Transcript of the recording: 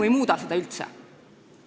See eelnõu seda üldse ei muuda.